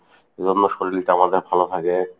এজন্য শরীরটা আমাদের ভালো থাকে।